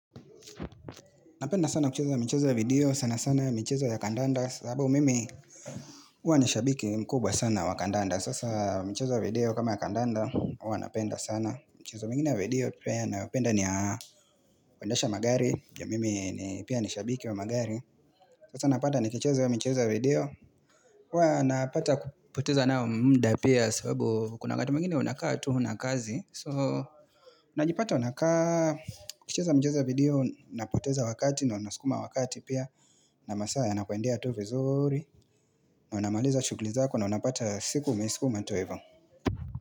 Napenda sana kucheza michezo ya video sana sana michezo ya kandanda sababu mimi uwa nishabiki mkubwa sana wa kandanda Sasa mcheza video kama ya kandanda uwa napenda sana Mchezo mingine ya video pia napenda ni ya kuendesha magari ya mimi pia nishabiki wa magari Sasa napata nikicheza mchezo ya video Uwa napata kupoteza nao mda pia sababu kuna wakata mwingine unakaa tu huna kazi So, najipata unakaa, ukicheza mchezo wa video, unapoteza wakati na unasukuma wakati pia na masaa yanakuendea tu vizuri na unamaliza shughuli zako na unapata siku umeisukuma tu hivo.